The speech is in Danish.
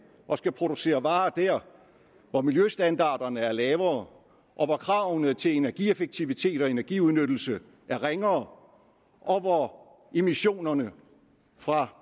og skal producere varer der hvor miljøstandarderne er lavere og hvor kravene til energieffektivitet og energiudnyttelse er ringere og hvor emissionerne fra